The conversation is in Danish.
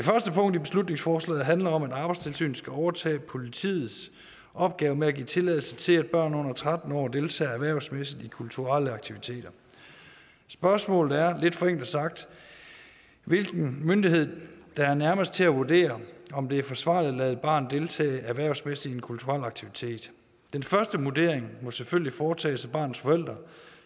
punkt i beslutningsforslaget handler om at arbejdstilsynet skal overtage politiets opgave med at give tilladelse til at børn under tretten år deltager erhvervsmæssigt i kulturelle aktiviteter spørgsmålet er lidt forenklet sagt hvilken myndighed der er nærmest til at vurdere om det er forsvarligt at lade et barn deltage erhvervsmæssigt i en kulturel aktivitet den første vurdering må selvfølgelig foretages af barnets forældre